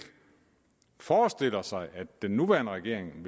forestiller sig at den nuværende regering